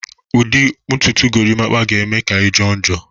Ụdị ntutu Gorimpa ga-eme ka ị jọrọ njọ